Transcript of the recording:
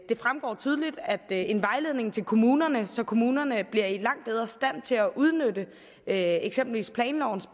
fremgår tydeligt at en vejledning til kommunerne så kommunerne bliver langt bedre i stand til at udnytte eksempelvis planlovens